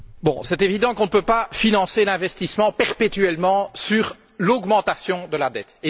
C'est évident qu'on ne peut pas financer l'investissement perpétuellement par l'augmentation de la dette.